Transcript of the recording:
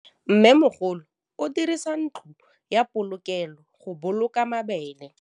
Mmêmogolô o dirisa ntlo ya polokêlô, go boloka mabele.